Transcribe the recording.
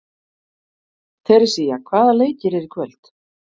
Teresía, hvaða leikir eru í kvöld?